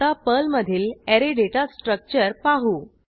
आता पर्लमधील array data structure पाहू